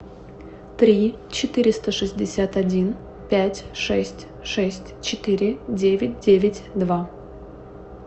три четыреста шестьдесят один пять шесть шесть четыре девять девять два